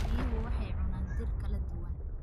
Riyuhu waxay cunaan dhir kala duwan.